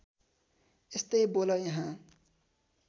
यस्तै बोल यहाँ